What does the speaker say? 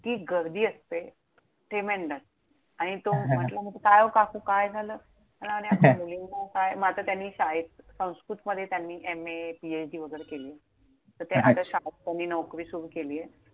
इतकी गर्दी असते! Tremendous आणि तो म्हंटला मग काय काकू झालं? मुलींना काय! मग आता त्यांनी शाळेत संस्कृतमध्ये MA, PhD वगैरे केली. तर ते आता शाळेत त्यांनी नोकरी सुरु केलीये.